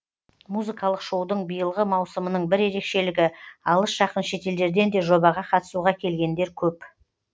музыкалық шоудың биылғы маусымының бір ерекшелігі алыс жақын шетелдерден де жобаға қатысуға келгендер көп